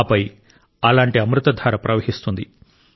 ఆపై అలాంటి అమృత ధార ప్రవహిస్తుంది